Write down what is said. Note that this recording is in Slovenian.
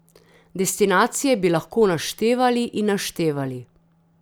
Destinacije bi lahko naštevali in naštevali ...